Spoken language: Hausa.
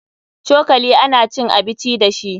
Cokali ana cin abici dashi.